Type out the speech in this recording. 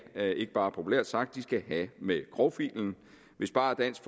er ikke bare populært sagt have med grovfilen hvis bare dansk